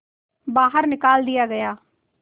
बाहर निकाल दिया गया